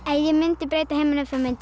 ég mundi breyta heiminum þá mundi